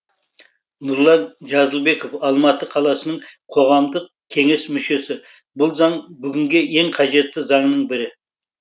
нұрлан жазылбеков алматы қаласының қоғамдық кеңес мүшесі бұл заң бүгінге ең қажетті заңның бірі